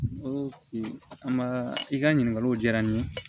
Ko an b'a i ka ɲininkaliw diyara n ye